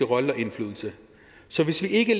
rolle og indflydelse så hvis vi ikke